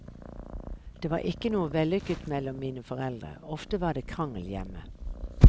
Det var ikke noe vellykket mellom mine foreldre, ofte var det krangel hjemme.